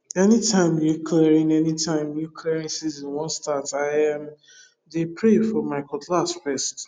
anytime new clearing anytime new clearing season wan start i um dey pray for my cutlass first